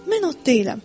Mən ot deyiləm.